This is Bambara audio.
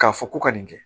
K'a fɔ ko ka nin kɛ